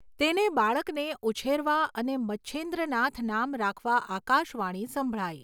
તેને બાળકને ઉછેરવા અને મચ્છેન્દ્રનાથ નામ રાખવા આકાશવાણી સંભળાઈ.